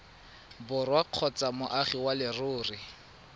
borwa kgotsa moagi wa leruri